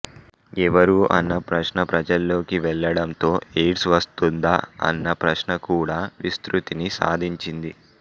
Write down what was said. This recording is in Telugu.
ఎవరు అన్న ప్రశ్న ప్రజల్లోకి వెళ్ళడంతో ఎయిడ్స్ వస్తుందా అన్న ప్రశ్న కూడా విస్తృతిని సాధించింది